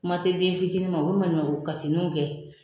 Kuma tɛ den fitinin ma o bɛ maɲumatɔ kasiniw kɛ.